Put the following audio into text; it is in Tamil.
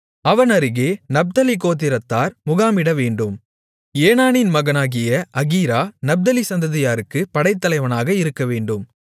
அவன் அருகே நப்தலி கோத்திரத்தார் முகாமிடவேண்டும் ஏனானின் மகனாகிய அகீரா நப்தலி சந்ததியாருக்குப் படைத்தலைவனாக இருக்கவேண்டும்